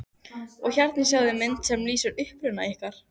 Og hérna sjáiði mynd sem lýsir uppruna ykkar.